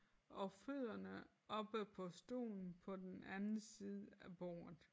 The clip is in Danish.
Og fødderne oppe på stolen på den anden side af bordet